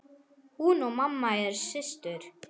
Hún og mamma eru systur.